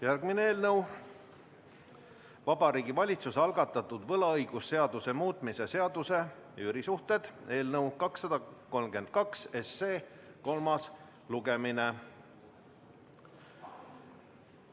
Järgmine punkt: Vabariigi Valitsuse algatatud võlaõigusseaduse muutmise seaduse eelnõu 232 kolmas lugemine.